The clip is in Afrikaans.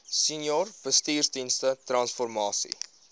senior bestuursdienste transformasie